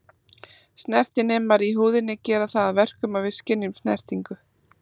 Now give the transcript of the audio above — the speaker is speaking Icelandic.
Snertinemar í húðinni gera það að verkum að við skynjum snertingu.